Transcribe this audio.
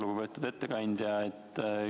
Lugupeetud ettekandja!